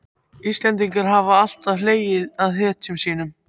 Íslendingar hafa alltaf hlegið að hetjum sínum.